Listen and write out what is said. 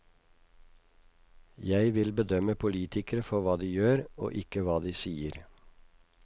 Jeg vil bedømme politikere for hva de gjør, og ikke hva de sier.